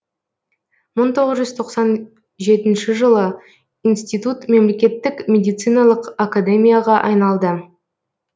мың тоғыз жүз тоқсан жетінші жылы институт мемлекеттік медициналық академияға айналды